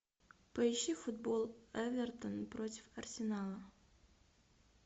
поищи футбол эвертон против арсенала